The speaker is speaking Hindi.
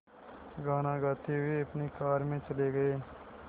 गाना गाते हुए अपनी कार में चले गए